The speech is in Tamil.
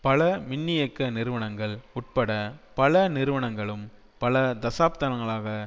பல மின்னியக்க நிறுவனங்கள் உட்பட பல நிறுவனங்களும் பல தசாப்தங்களாக